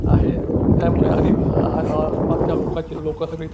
आहे त्यामुळे आधी अअअ आसपासच्या लोकांची लोकसभेत --